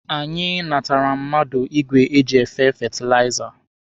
Anyị natara mmadụ igwe eji efe fetilaiza